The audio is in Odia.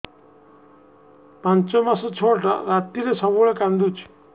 ପାଞ୍ଚ ମାସ ଛୁଆଟା ରାତିରେ ସବୁବେଳେ କାନ୍ଦୁଚି